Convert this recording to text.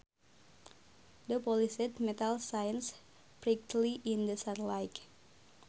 The polished metal shines brightly in the sunlight